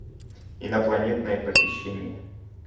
инопланетное похищение